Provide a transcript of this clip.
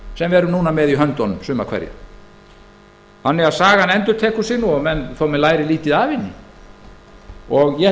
við erum núna með í höndunum suma hverja sagan endurtekur sig þó menn læri lítið af henni og ég